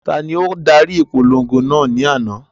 Tani o dari ipolongo naa ni ana?